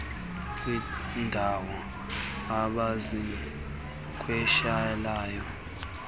kwiindaw abaziqeshileyo nabaqeshe